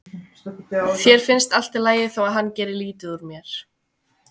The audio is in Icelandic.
Þér finnst allt í lagi þó að hann geri lítið úr mér.